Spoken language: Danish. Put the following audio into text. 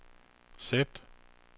sæt